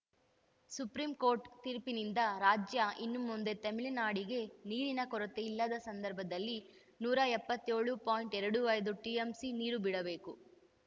supreme court ತೀರ್ಪಿನಿಂದ ರಾಜ್ಯ ಇನ್ಮುಂದೆ ತಮಿಳುನಾಡಿಗೆ ನೀರಿನ ಕೊರತೆ ಇಲ್ಲದ ಸಂದರ್ಭದಲ್ಲಿ ನೂರ ಎಪ್ಪತ್ಯೋಳು ಪಾಯಿಂಟ್ ಇಪ್ಪತ್ತೈದು ಟಿಎಂಸಿ ನೀರು ಬಿಡಬೇಕು